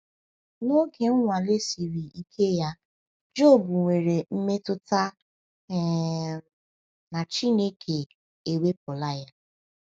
N’oge nnwale siri ike ya, Jọb nwere mmetụta um na Chineke ewepụla ya.